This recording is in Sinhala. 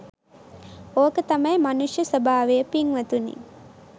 ඕක තමයි මනුෂ්‍ය ස්වභාවය පිංවතුනි.